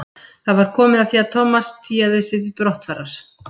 Það var komið að því að Thomas tygjaði sig til brottfarar.